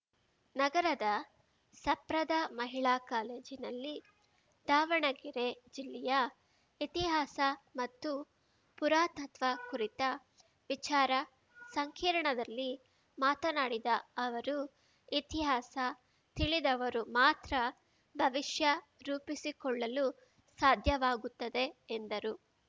ನಗರದ ಸಪ್ರದ ಮಹಿಳಾ ಕಾಲೇಜಿನಲ್ಲಿ ದಾವಣಗೆರೆ ಜಿಲ್ಲೆಯ ಇತಿಹಾಸ ಮತ್ತು ಪುರಾತತ್ವ ಕುರಿತ ವಿಚಾರ ಸಂಕಿರ್ಣದಲ್ಲಿ ಮಾತನಾಡಿದ ಅವರು ಇತಿಹಾಸ ತಿಳಿದವರು ಮಾತ್ರ ಭವಿಷ್ಯ ರೂಪಿಸಿಕೊಳ್ಳಲು ಸಾಧ್ಯವಾಗುತ್ತದೆ ಎಂದರು